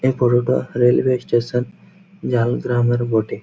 এ পুরোটা railway station ঝাড়গ্রামের বটে।